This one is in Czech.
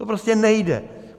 To prostě nejde.